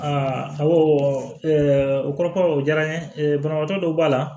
awɔ o kɔrɔ ko o diyara n ye banabagatɔ dɔw b'a la